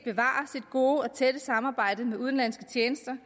gode og tætte samarbejde med udenlandske tjenester